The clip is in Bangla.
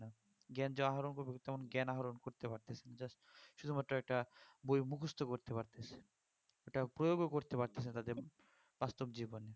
জ্ঞান যে আহরণ করবে তেমন জ্ঞান আহরণ করতে পারছে না just শুধুমাত্র একটা বই মুখস্ত করছে ওটা প্রয়োগ ও করতে পারছে না তাদের বাস্তব জীবনে